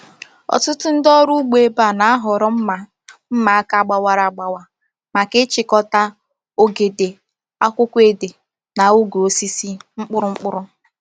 Ọtụtụ ndị ọrụ ugbo ebe a na-ahọrọ mma mma aka gbawara agbawa maka ịchịkọta ogede, akwukwo ede, na ogwe osisi mkpụrụ mkpụrụ.